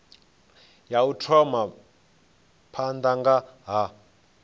ya u thoma phanda ha